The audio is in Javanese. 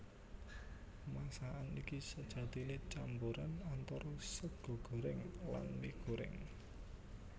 Masakan iki sejatiné camboran antara sega gorèng lan mie gorèng